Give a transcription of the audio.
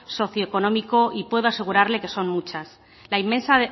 socioeconómico y puedo asegurarle que son muchas la inmensa